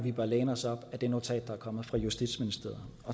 vi bør læne os op ad det notat der er kommet fra justitsministeriet